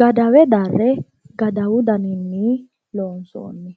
gadawe darre gadawu daninni loonsooni.